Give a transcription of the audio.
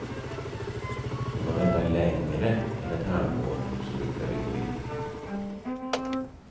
Får man vänta längre än ett halvår, så brukar vi gå in.